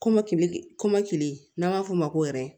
Kɔmɔkili kɔmɔkili n'an b'a f'o ma ko